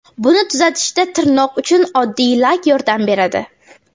Buni tuzatishda tirnoq uchun oddiy lak yordam beradi.